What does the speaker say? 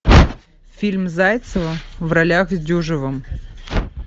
фильм зайцева в ролях с дюжевым